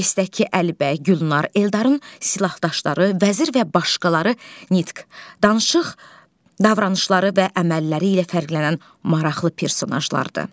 Pyesdəki Əlibəy, Gülnar, Eldarın silahdaşları, vəzir və başqaları nitq, danışıq, davranışları və əmələri ilə fərqlənən maraqlı personajlardır.